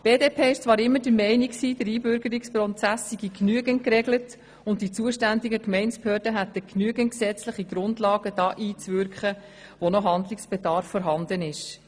Die BDP war zwar immer der Meinung, der Einbürgerungsprozess sei genügend geregelt und die zuständigen Gemeindebehörden hätten ausreichende gesetzliche Grundlagen, um dort einzuwirken, wo noch Handlungsbedarf besteht.